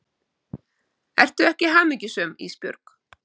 Ertu ekki hamingjusöm Ísbjörg?